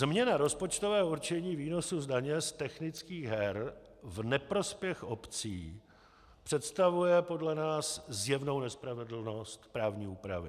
Změna rozpočtového určení výnosu z daně z technických her v neprospěch obcí představuje podle nás zjevnou nespravedlnost právní úpravy.